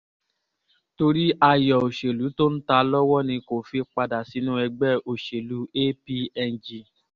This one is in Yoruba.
torí ayọ̀ òṣèlú tó ń ta lọ́wọ́ ni kò fi padà sínú ẹgbẹ́ òṣèlú apng